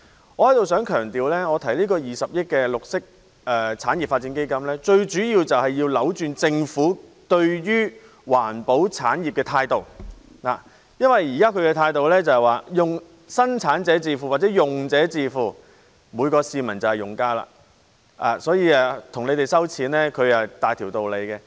我想在此強調，我提出20億元綠色產業發展基金，最主要是要扭轉政府對於環保產業的態度，因為政府現時的態度是由生產者自付或用者自付，每一名市民也是用家，所以大條道理向他們徵費。